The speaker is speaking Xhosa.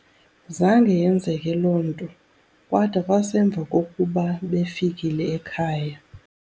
Zange yenzeke loo nto kwada kwasemva kokuba befikile ekhaya.